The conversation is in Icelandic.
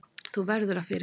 Þú verður að fyrirgefa.